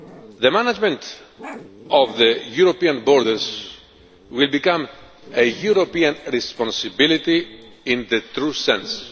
The management of the European borders will become a European responsibility in the true